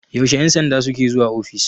yaushe 'yansanda suke zuwa ofis?